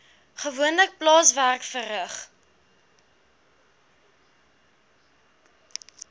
gewoonlik plaaswerk verrig